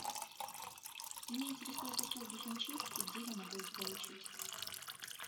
меня интересуют услуги химчистки где я могу их получить